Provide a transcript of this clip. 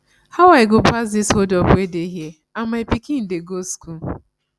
how i go pass this hold up wey dey here and my pikin dey go school